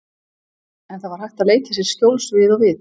En það var hægt að leita sér skjóls við og við.